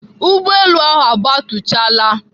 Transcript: Ụgbọelu ahụ agabatuchala.